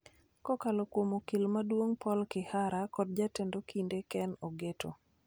kokalo kuom Okil Maduong' Paul Kihara kod Jatend Okinde Ken Ogeto.